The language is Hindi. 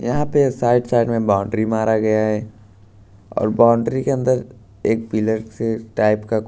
यहां पे साइड साइड में बाउंड्री मारा गया है और बाउंड्री के अंदर एक पिलर से टाइप का--